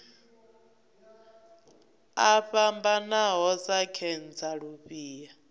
o fhambanaho sa khentsa lufhia